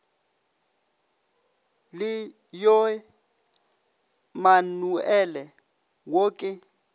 le yoe manuale wo ke